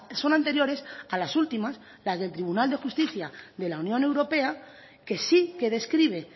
son anteriores a las últimas las del tribunal de justicia de la unión europea que sí que describe